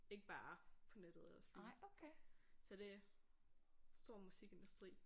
Ikke bare på nettet eller streams så det stor musikindustri